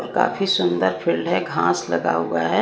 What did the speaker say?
काफी सुंदर फील्ड है घास लगा हुआ है।